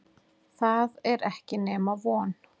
Það er ekki nema von.